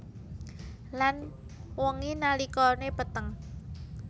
Lan wengi nalikane peteng